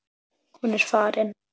Hún er farin.